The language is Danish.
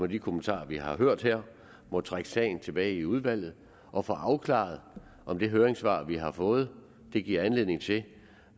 de kommentarer vi har hørt her må trække sagen tilbage i udvalget og få afklaret om det høringssvar vi har fået giver anledning til